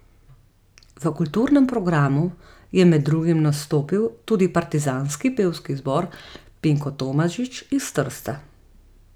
V kulturnem programu je med drugim nastopil tudi Partizanski pevski zbor Pinko Tomažič iz Trsta.